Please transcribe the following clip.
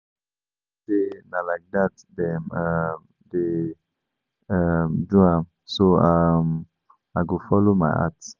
I no believe say na like dat dem um dey um do am so um I go follow my heart